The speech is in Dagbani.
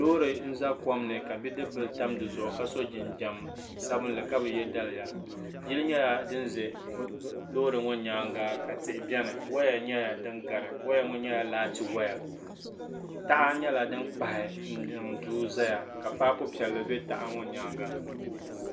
Loori n-za kom ni ka bidibila tam di zuɣu ka so jinjam sabinli ka bi ye daliya yili nyɛla din ʒe loori ŋɔ nyaaŋa ka tihi beni waya nyɛla din gari waya ŋɔ nyɛla laati waya taha nyɛla din kpahi n-niŋ duu zaya ka paapu piɛlli be taha ŋɔ nyaaŋa.